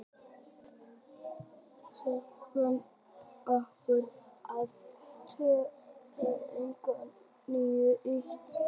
Tuttugu og níu þúsund og tvö fet, eða kannski tuttugu og níu eitt fjögur eitt.